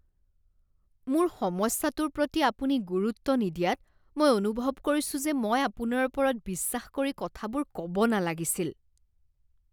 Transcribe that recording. মোৰ সমস্যাৰ প্ৰতি আপুনি গুৰুত্ব নিদিয়াত মই অনুভৱ কৰিছো যে মই আপোনাৰ ওপৰত বিশ্বাস কৰি কথাবোৰ ক'ব নালাগিছিল।